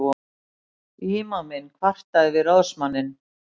Ímaminn kvartaði við ráðsmanninn.